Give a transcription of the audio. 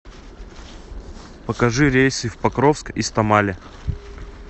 покажи рейсы в покровск из тамале